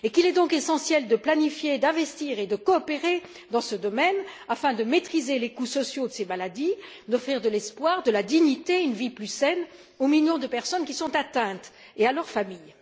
Il est donc essentiel de planifier, d'investir et de coopérer dans ce domaine, afin de maîtriser les coûts sociaux de ces maladies, d'offrir de l'espoir, de la dignité et une vie plus saine aux millions de personnes qui sont atteintes et à leur famille.